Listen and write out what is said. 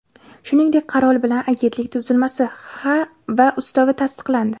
Shuningdek, qaror bilan agentlik tuzilmasi va ustavi tasdiqlandi.